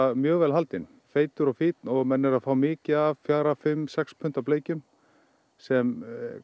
mjög vel haldinn feitur og fínn og menn eru að fá mikið af fjórum fimm sex punda bleikjum sem